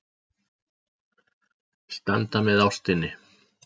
Standa með ástinni.